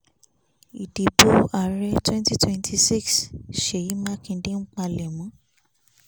ìdìbò ààrẹ twenty twenty six ṣèyí mákindé ń palẹ̀mọ